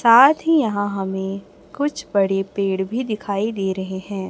साथ ही यहां हमें कुछ बड़े पेड़ भी दिखाई दे रहे हैं।